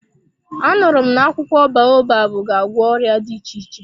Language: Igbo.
A nụrụ m na akwụkwọ baobabu ga-agwọ ọrịa dị iche iche.